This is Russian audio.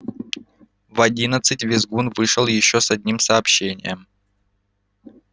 в одиннадцать визгун вышел ещё с одним сообщением